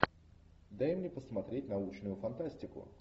дай мне посмотреть научную фантастику